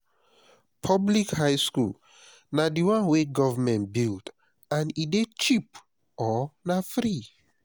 public high school na di one wey government build and e de cheap or na free